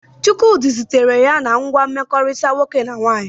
Chukwudi zutere ya na ngwa mkpakọrịta nwoke na nwaanyị.